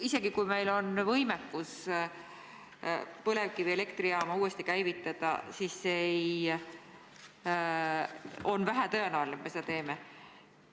Isegi siis, kui meil on võimekus põlevkivielektrijaam uuesti käivitada, on vähetõenäoline, et me seda teeme.